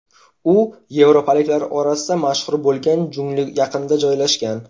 U yevropaliklar orasida mashhur bo‘lgan jungli yaqinida joylashgan.